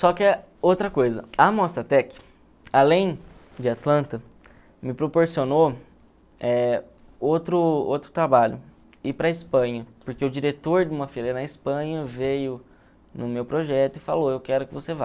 Só que outra coisa, a Mostratec, além de Atlanta, me proporcionou eh outro outro trabalho, ir para a Espanha, porque o diretor de uma feira na Espanha veio no meu projeto e falou, eu quero que você vá.